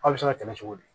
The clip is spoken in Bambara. Aw bɛ se ka tɛmɛ cogo di